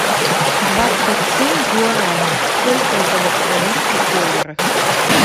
двадцать семь гуараней сколько это в австралийских долларах